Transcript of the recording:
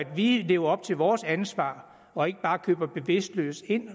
vi lever op til vores ansvar og ikke bare køber bevidstløst ind